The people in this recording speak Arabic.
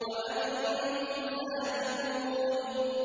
وَأَنتُمْ سَامِدُونَ